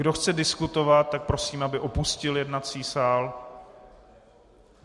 Kdo chce diskutovat, tak prosím, aby opustil jednací sál.